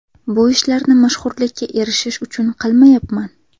Bu ishlarni mashhurlikka erishish uchun qilmayman.